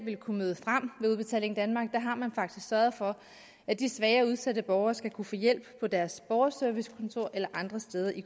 kunne møde frem ved udbetaling danmark der har man faktisk sørget for at de svage og udsatte borgere skal kunne få hjælp på deres borgerservicekontor eller andre steder i